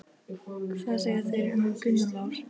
Hvað segja þeir um Gunnar Már?